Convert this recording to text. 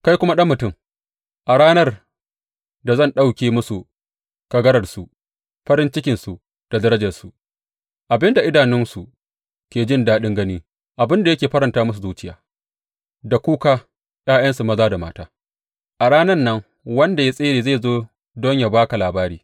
Kai kuma ɗan mutum, a ranar da zan ɗauke musu kagararsu, farin cikinsu da darajarsu, abin da idanunsu ke jin daɗin gani, abin da yake faranta musu zuciya, da kuka ’ya’yansu maza da mata, a ranan nan wanda ya tsere zai zo don yă ba ka labari.